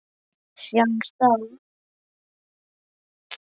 Sjáumst þá!